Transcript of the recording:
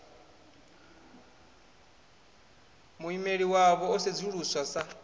muimeli wavho o sedzuluswa sa